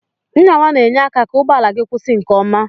Nyawa na enye aka ka ụgbọala gi kwụsi nke ọma.